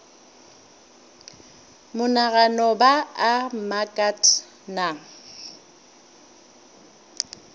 monagano ba a mmakat na